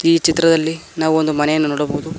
ಈ ಚಿತ್ರದಲ್ಲಿ ನಾವು ಒಂದು ಮನೆಯನ್ನು ನೋಡಬಹುದು.